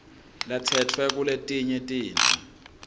latsetfwe kuletinye titfo